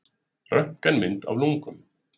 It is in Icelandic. Röntgenmynd af lungum.